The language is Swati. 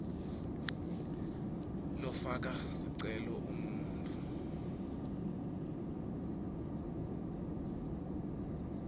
lofaka sicelo ungumuntfu